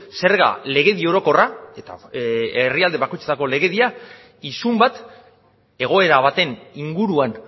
zerga legedi orokorra eta herrialde bakoitzeko legedia isun bat egoera baten inguruan